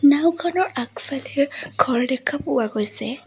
নাওঁখনৰ আগফালে ঘৰ দেখা পোৱা গৈছে।